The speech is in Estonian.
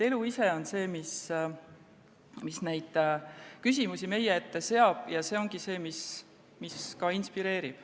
Elu ise on see, mis neid küsimusi meie ette seab, ja see ongi see, mis ka inspireerib.